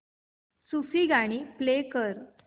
सूफी गाणी प्ले कर